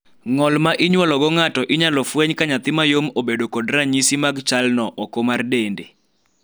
ng'ol ma inyuolo go ng'ato inyalo fweny ka nyathi mayom obedo kod ranyisi mag chal no oko mar dende